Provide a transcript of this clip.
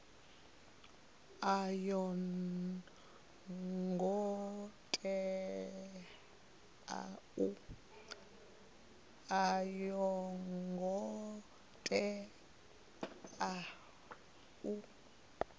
a yo ngo tea u